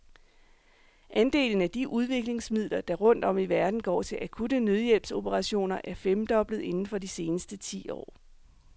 Andelen af de udviklingsmidler, der rundt om i verden går til akutte nødhjælpsoperationer, er femdoblet inden for de seneste ti år.